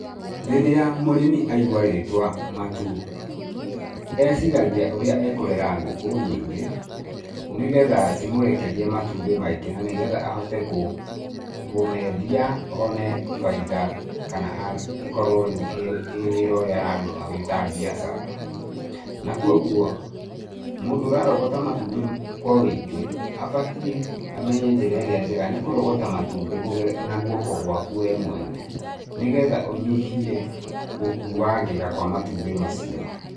Rĩrĩa mũrĩmi aigua rĩtwa matumbĩ, eciragia ũrĩa ekũrera ngũkũ nyingĩ, nĩgetha cimũrekerie matumbĩ maingĩ, na nĩgetha ahote kũmeendia one bainda, kana ĩkorwo rĩu ĩ wĩra ũrĩa araruta wĩ ta biacara. Na kogwo mũndũ ũrarogota matumbĩ kwa wũingĩ abatiĩ amenye njĩra ĩrĩa njega, nĩ kũrogota matumbĩ na guoko gwaku we mwene, nĩgetha ũnyihie gũkuangĩka kwa matumbĩ macio.